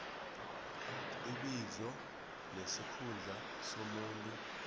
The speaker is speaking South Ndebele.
ibizo nesikhundla somuntu